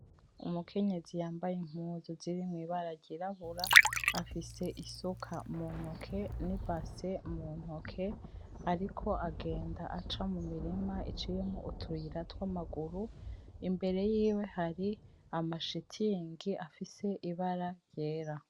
Umukenyezi yambaye impuzu zirimwo ibara ryirabura afise isuka muntoke n,ibase muntoke ariko agenda aca mumurima iciyemwo utuyira twamaguru imbere yiwe hari amashitingi afise ibara ryera.